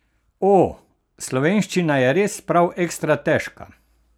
O, slovenščina je res prav ekstra težka!